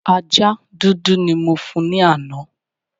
Ajá dúdú ni mo fún ní àná